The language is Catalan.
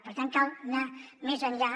per tant cal anar més enllà